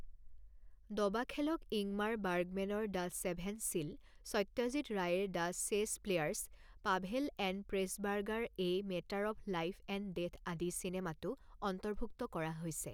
দবাখেলক Ingmar বাৰ্গমেনৰ the seventh seal, Satyajit ৰায়েৰ the chess players, Powell and Pressburger a matter of life and death আদি চিনেমাতো অন্তৰ্ভূক্ত কৰা হৈছে।